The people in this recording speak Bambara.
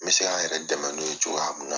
N bɛ se ka yɛrɛ dɛmɛ n'o ye cogoya mun na.